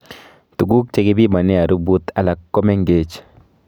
Tuguk chekipimanee arubut alak ko mengeech